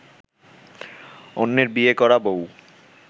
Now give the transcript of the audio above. অন্যের ‘বিয়ে করা’ বউ